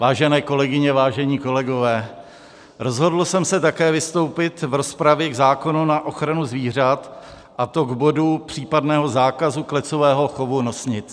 Vážené kolegyně, vážení kolegové, rozhodl jsem se také vystoupit v rozpravě k zákonu na ochranu zvířat, a to k bodu případného zákazu klecového chovu nosnic.